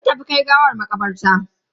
Sun tafi kai gawar makabarta.